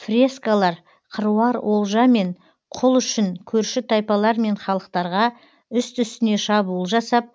фрескалар қыруар олжа мен құл үшін көрші тайпалар мен халықтарға үсті үстіне шабуыл жасап